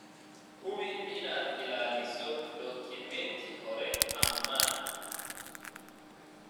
Hubi inaad ilaaliso dukumeenti hore ammaan.